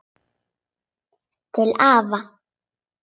Til afa.